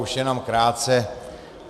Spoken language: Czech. Už jenom krátce.